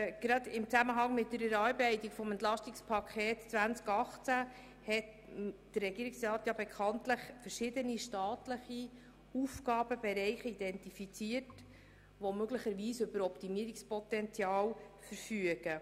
Gerade im Zusammenhang mit der Erarbeitung des EP 2018 hat der Regierungsrat bekanntlich verschiedene staatliche Aufgabenbereiche identifiziert, die möglicherweise über Optimierungspotenzial verfügen.